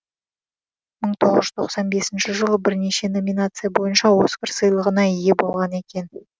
мың тоғыз жүз тоқсан бесінші жылы бірнеше номинация бойынша оскар сыйлығына ие болған екен